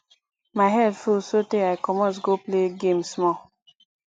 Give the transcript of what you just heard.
my head full so tey i comot go play game small